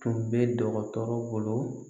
Tun bɛ dɔgɔtɔrɔ bolo